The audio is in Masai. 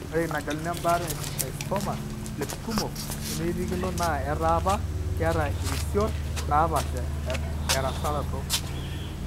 Ore inaageluni embaata e esteatocystoma plexekumok nemeiririkino naa etaa apa keeta irisiorot naapaasha erasaroto.